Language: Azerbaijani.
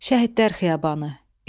Şəhidlər Xiyabanı.